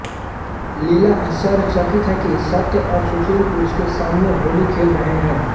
लीला आश्चर्यचकित है कि सत्य और सुशील उसके सामने होली खेल रहे हैं